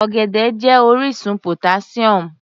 Ọ̀gẹ̀dẹ̀ jẹ́ orísun potassium.